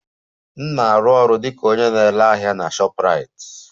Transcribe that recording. M na-arụ ọrụ dị ka onye na-ere ahịa na shoprite